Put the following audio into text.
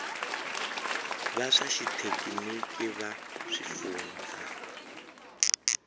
va swa xithekiniki va swifundzha